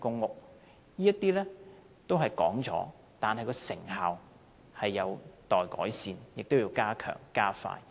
政府已經提出這些政策，但成效有待改善，並要加強和加快。